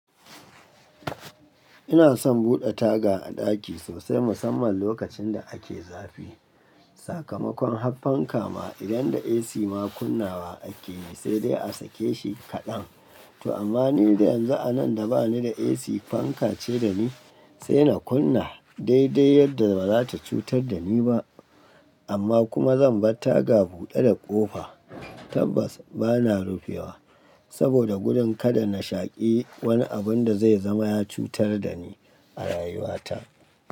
Ina son buɗe taga a ɗaki sosai musamman lokacin da ake zafi. Sakamakon har fanka ma idan da AC ma kunnawa ake yi sai dai a sake shi kaɗan. To amma ni da yanzu a nan da ba ni da AC, fanka ce da ni sai na kunna daidai yadda ba za ta cutar da ni ba amma kuma zan bar taga buɗe da kofa tabbas ba na rufewa saboda gudun kada na shaƙi wani abun da zai zama ya cutar da ni a rayuwa ta.